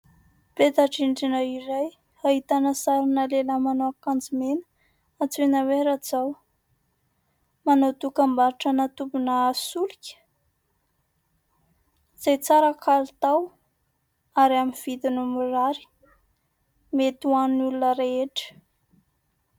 Peta-drindrina iray, ahitana sary lehilahy manao akanjo mena, antsoina hoe Rajao. Manao dokambarotra tobin-tsolika, izay tsara kalitao, ary amin'ny vidiny mirary. Mety ho an'ny olona rehetra.